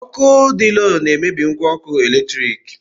Ọkụ dị lo na-emebi ngwa ọkụ eletrik.